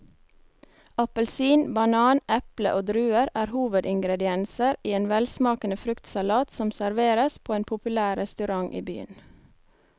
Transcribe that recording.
Appelsin, banan, eple og druer er hovedingredienser i en velsmakende fruktsalat som serveres på en populær restaurant i byen.